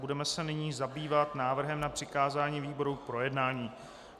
Budeme se nyní zabývat návrhem na přikázání výborům k projednání.